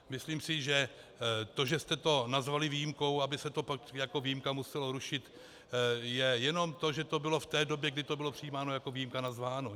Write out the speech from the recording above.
Myslím si, že to, že jste to nazvali výjimkou, aby se to pak jako výjimka muselo rušit, je jenom to, že to bylo v té době, kdy to bylo přijímáno, jako výjimka nazváno.